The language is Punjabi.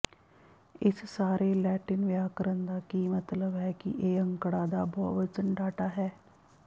ਇਸ ਸਾਰੇ ਲੈਟਿਨ ਵਿਆਕਰਣ ਦਾ ਕੀ ਮਤਲਬ ਹੈ ਕਿ ਇਹ ਅੰਕੜਾ ਦਾ ਬਹੁਵਚਨ ਡਾਟਾ ਹੈ